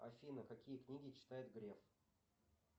афина какие книги читает греф